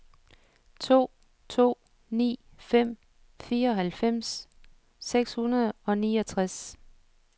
to to ni fem fireoghalvfems seks hundrede og niogtres